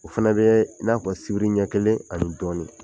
O fana bɛ i n'a fɔ sibiri ɲɛ kelen ani dɔɔni